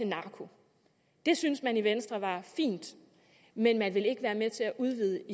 narko det synes man i venstre var fint men man vil ikke være med til at udvide